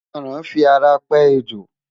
Aràn fi ara pẹ́ ejò.